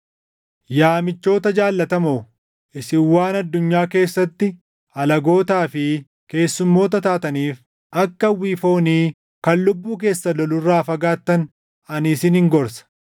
Yaa michoota jaallatamoo, isin waan addunyaa keessatti alagootaa fi keessummoota taataniif akka hawwii foonii kan lubbuu keessan lolu irraa fagaattan ani isinin gorsa.